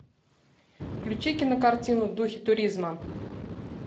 включи кинокартину в духе туризма